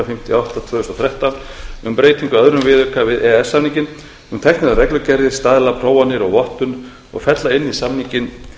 fimmtíu og átta tvö þúsund og þrettán um breytingu á öðrum viðauka við e e s samninginn um tæknilegar reglugerðir staðlaprófanir og vottun og fella inn í samninginn